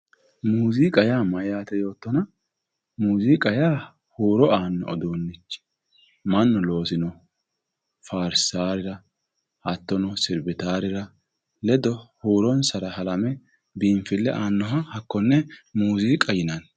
muziiqa yaa mayyate yoottona huro aanno uduunnicho mannu loosinoha faarsahura hattono siribitaworira huuronsara halame biinfille aannoha hakkonne muziiqa yinanni